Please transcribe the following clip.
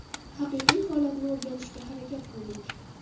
Haqiqiy holatni o‘rganishga harakat qildik.